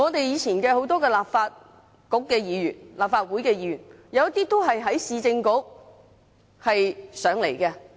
以前很多立法局和立法會議員，都是在市政局起步。